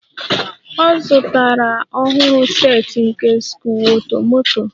Ọ zụtara a ọhụrụ set nke sikruokwomoto